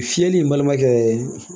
Fiyɛli balimakɛ